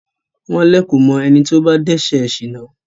wọ́n lẹ̀kò mọ ẹni tí ó bá dẹ́sẹ̀ sìná.